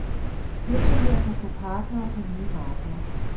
Virksomheder kan få partnere på nye markeder.